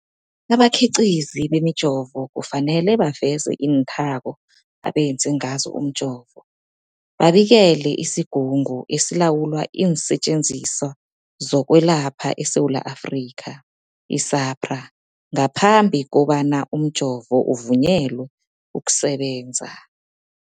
Abakhiqizi bemijovo kufanele baveze iinthako abenze ngazo umjovo, babikele isiGungu esiLawula iinSetjenziswa zokweLapha eSewula Afrika, i-SAHPRA, ngaphambi kobana umjovo uvunyelwe ukusebenza.